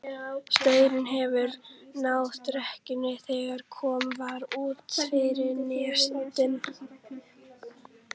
Straumurinn hefur náð dekkinu þegar komið var út fyrir nesoddann.